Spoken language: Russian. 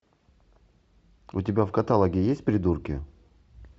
у тебя в каталоге есть придурки